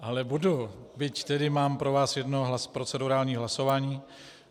Ale budu, byť tedy mám pro vás jedno procedurální hlasování.